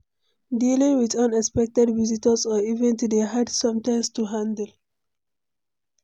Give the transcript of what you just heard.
Dealing with unexpected visitors or events dey hard sometimes to handle.